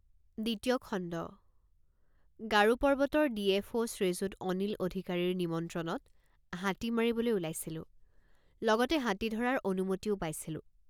দ্বিতীয় খণ্ড গাৰো পৰ্বতৰ ডিএফঅ শ্ৰীযুত অনিল অধিকাৰীৰ নিমন্ত্ৰণত হাতী মাৰিবলৈ ওলাইছিলোঁ লগতে হাতী ধৰাৰ অনুমতিও পাইছিলোঁ।